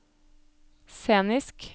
scenisk